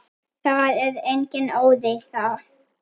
Það er engin óreiða.